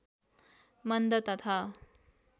मन्द तथा